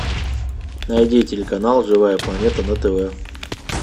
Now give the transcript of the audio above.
найди телеканал живая планета на тв